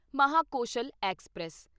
Mahakoshal express